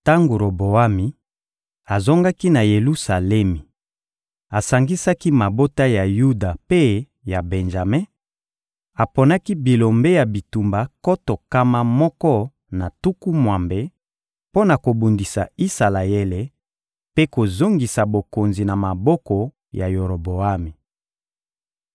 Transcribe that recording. Tango Roboami azongaki na Yelusalemi, asangisaki mabota ya Yuda mpe ya Benjame, aponaki bilombe ya bitumba nkoto nkama moko na tuku mwambe mpo na kobundisa Isalaele mpe kozongisa bokonzi na maboko ya Roboami.